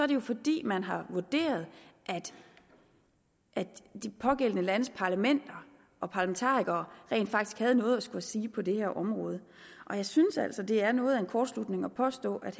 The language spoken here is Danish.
det jo fordi man har vurderet at de pågældende landes parlamenter og parlamentarikere rent faktisk havde noget at skulle sige på det her område og jeg synes altså det er noget af en kortslutning at påstå at